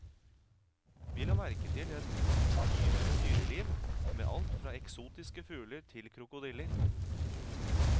Vi la merke til et yrende dyreliv, med alt fra eksotiske fugler til krokodiller.